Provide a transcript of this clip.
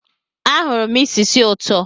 Ahụrụ m isi sì ụtọ.